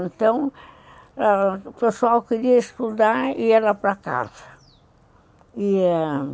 Então, ãh, o pessoal queria estudar e ir lá para casa.